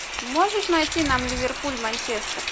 можешь найти нам ливерпуль манчестер